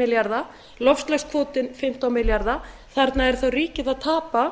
milljarða loftslagskvótinn fimmtán milljarða þarna er þá ríkið að tapa